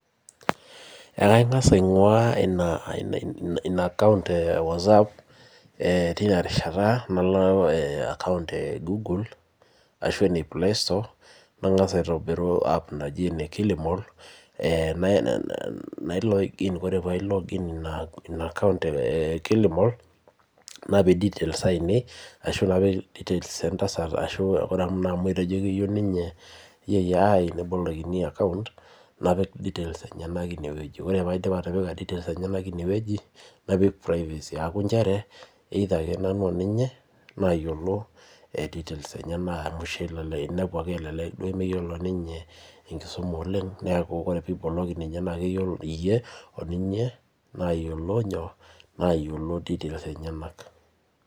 ee kangasa aingu'ua ina account whatsaapp tina rishata naloo account eguguul arasho ene playstore nangaasa' aitobiruu ina app naajii ene kilimall ..nailog inn koree peyiee ailogg inn ina account eee kilimall[cs napiikii d details aiiinei arasho napik details entasat inenyenak amuu keyiou na ninye nebolokini account naapik details enyenak inewueji koree peyiee aidip atipika details enyenak inewueji naapik privacy ncheere nanuu akee oninyee nayiolo details enyenak niakuu nanu akee nayiolo oo ninye nebaiki nemeyiolo ninye enkisuma oleng niaku koree ake pibooloki niake iyie akee oninye nayiolo details enyenak.